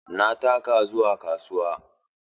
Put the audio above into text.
Na taka zuwa kasuwa.